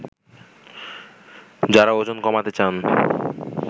যারা ওজন কমাতে চান